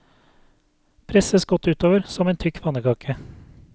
Presses godt utover, som en tykk pannekake.